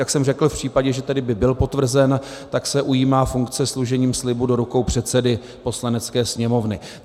Jak jsem řekl, v případě, že tedy by byl potvrzen, tak se ujímá funkce složením slibu do rukou předsedy Poslanecké sněmovny.